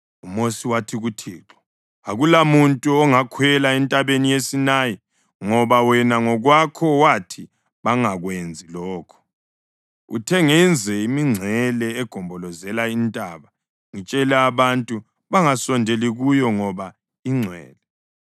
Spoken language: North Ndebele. UMosi wathi kuThixo, “Akulamuntu ongakhwela entabeni yeSinayi ngoba wena ngokwakho wathi bangakwenzi lokho. Uthe ngenze imingcele egombolozela intaba ngitshele abantu bangasondeli kuyo ngoba ingcwele.”